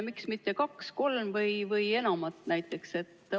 Miks mitte kaks, kolm või enam näiteks?